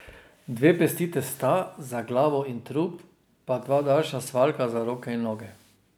Dve pesti testa, za glavo in trup, pa dva daljša svaljka za roke in noge.